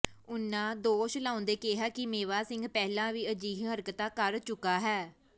ਉਨ੍ਹਾਂ ਦੋਸ਼ ਲਾਉਂਦੇ ਕਿਹਾ ਕਿ ਮੇਵਾ ਸਿੰਘ ਪਹਿਲਾਂ ਵੀ ਅਜਿਹੀਆਂ ਹਰਕਤਾਂ ਕਰ ਚੁੱਕਾ ਹੈ